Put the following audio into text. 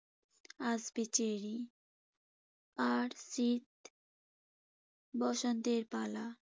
আসবে চেরি। আর শীত বসন্তের পালা